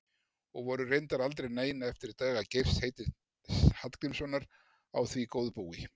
Og voru reyndar aldrei nein eftir daga Geirs heitins Hallgrímssonar á því góðbúi.